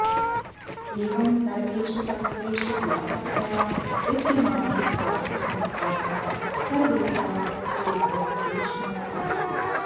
एवं सर्वेषु तत्त्वेषु व्यापकतया विद्यमानत्वाद् सः आत्मा सर्वेभ्यः तत्त्वेभ्यः सूक्ष्मः अस्ति